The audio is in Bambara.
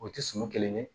O tɛ sun kelen kelen ye